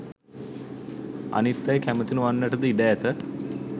අනිත් අය කැමති නොවන්නටද ඉඩ ඇත.